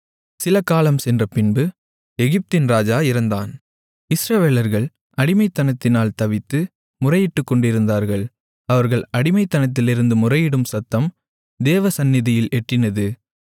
சிலகாலம் சென்றபின்பு எகிப்தின் ராஜா இறந்தான் இஸ்ரவேலர்கள் அடிமைத்தனத்தினால் தவித்து முறையிட்டுக்கொண்டிருந்தார்கள் அவர்கள் அடிமைத்தனத்திலிருந்து முறையிடும் சத்தம் தேவசந்நிதியில் எட்டினது